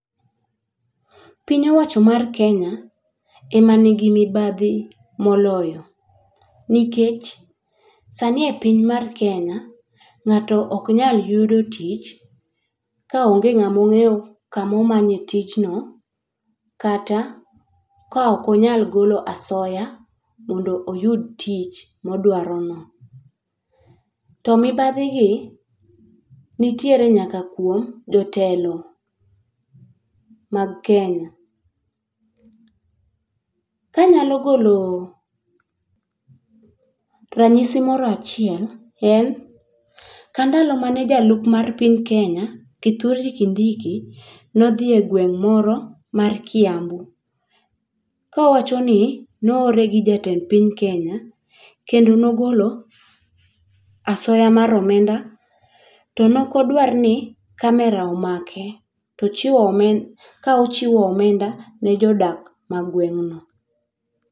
Piny owacho mar Kenya ema nigi mibadhi moloyo, nikech sani e piny mar Kenya, ng'ato ok nyal yudo tich kaonge ng'amo ng'eyo kamomanye tijno kata kaok onyal ogolo asoya mondo oyud tich modwarono. To mibadhigi, nitiere nyaka kuom jotelo mag Kenya. Kanyalo golo ranyisi moro achiel, en kandalo mane jalup mar piny Kenya, Kithure Kindiki, nodhi e gweng' moro mar Kiambu kowachoni, noore gi jatend piny Kenya, kendo nogolo asoya mar omenda. Tonokodwar ni camera omake tochiwo ka ochiwo omenda ne jodak magweng' no.